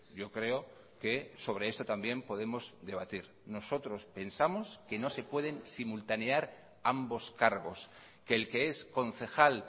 yo creo que sobre esto también podemos debatir nosotros pensamos que no se pueden simultanear ambos cargos que el que es concejal